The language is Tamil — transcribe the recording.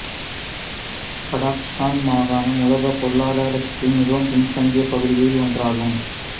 படாக்சான் மாகாணம் உலகப் பொருளாதாரத்தில் மிகவும் பின்தங்கிய பகுதிகளில் ஒன்றாகும்